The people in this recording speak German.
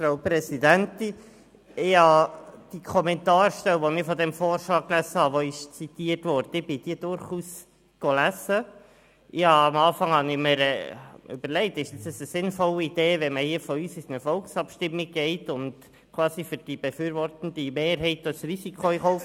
Ich habe die zitierte Kommentarstelle durchaus gelesen und mir anfänglich überlegt, ob es eine sinnvolle Idee ist, wenn wir nun hier in eine Volksabstimmung gehen und quasi die befürwortende Mehrheit riskieren.